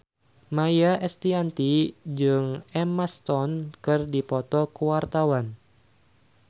Maia Estianty jeung Emma Stone keur dipoto ku wartawan